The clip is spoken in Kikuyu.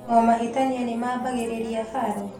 O mahĩtania nĩ mambagĩrĩria haro?